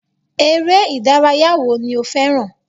Eré ìdárayá wo ni o fẹràn?